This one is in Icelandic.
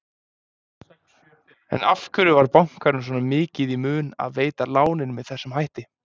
En af hverju var bankanum svona mikið í mun að veita lánin með þessum hætti?